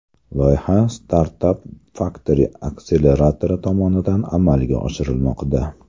Loyiha StartupFactory akseleratori tomonidan amalga oshirilmoqda.